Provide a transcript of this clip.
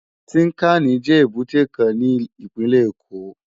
Tinkáni jè ébùté kán ni ipinlè Ékó